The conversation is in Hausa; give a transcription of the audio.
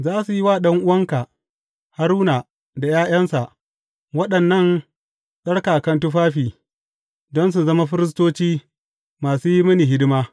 Za su yi wa ɗan’uwanka, Haruna da ’ya’yansa, waɗannan tsarkaka tufafi, don su zama firistoci masu yi mini hidima.